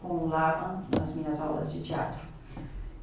com o Laban nas minhas aulas de teatro.